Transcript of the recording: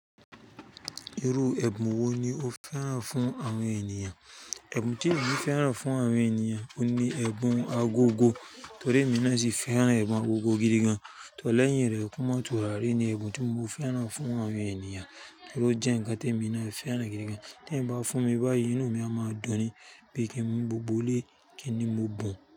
Irú ẹbùn wo ni o fẹ́ràn fún àwọn ènìyàn? Ẹbùn tí èmi fẹ́ràn fún àwọn ènìyàn ni ẹbùn agogo torí èmi náà sì fẹ́ràn ẹbùn agogo gidi gan. Tọ́ lẹ́yìn rẹ̀, ẹkún mọ́ tùrari ní ẹbùn tí mo fẹ́ràn fún àwọn ènìyàn torí ó jẹ́ ǹkan tí èmi náà fẹ́ràn gidi gan. Tẹ́ eyan bá fún mi báyìí, inú mi a máa dùn ni bí i kí n mú gbogbo ilé kí ni mo bùn.